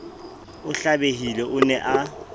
a hlabehile o ne a